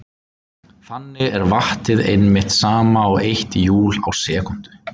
Þannig er vattið einmitt sama og eitt júl á sekúndu.